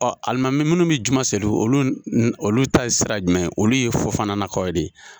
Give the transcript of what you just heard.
Ɔ alimami munnu bɛ juma seli olu, olu ta ye sira jumɛn olu ye Fofana la kaw de ye.